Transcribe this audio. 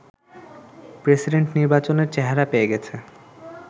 president নির্বাচনের চেহারা পেয়ে গেছে